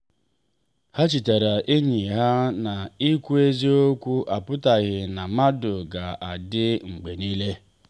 ha chetara enyi ha na ikwu eziokwu apụtaghị na mmadụ ga-adị mgbe niile.